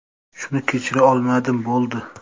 Shuni kechira olmadim, bo‘ldi.